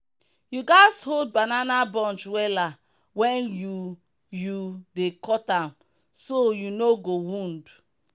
you gatz hold banana bunch wella when you you dey cut am so you no go wound.